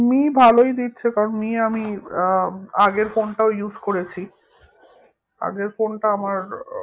me ভালোই দিচ্ছে কারণ মি আমি আহ আগের phone টাও use করেছি আগের phone টা আমার